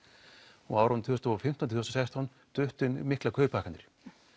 og á árunum tvö þúsund og fimmtán til sextán duttu inn miklar kauphækkanir